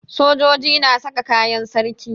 Sojoji na sa kayan sarki.